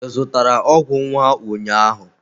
Ị zụtara ọgwụ nwa ụnyahụ?